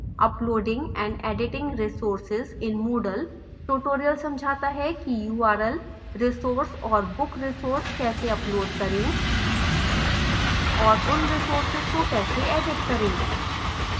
uploading and editing resources in moodle tutorial समझाता है कि url resource और book resource कैसे upload करें और